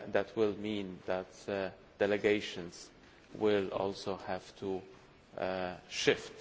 will mean that delegations will also have to shift.